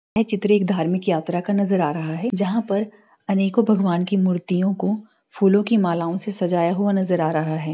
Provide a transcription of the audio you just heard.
यह चित्र एक धार्मिक यात्रा का नजर आ रहा है जहां पर अनेको भगवान की मूर्तियो को फूलों की मालाओं से सजाया हुआ नजर आ रहा है।